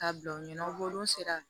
K'a bila u ɲɛ n'u sera